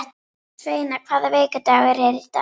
Sveina, hvaða vikudagur er í dag?